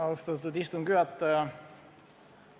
Austatud istungi juhataja!